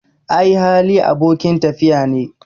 Ai Hali, abokin tafiya ne